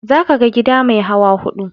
Za ka ga gida mai hawa hudu.